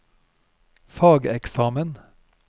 fageksamen